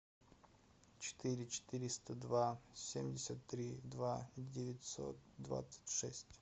четыре четыреста два семьдесят три два девятьсот двадцать шесть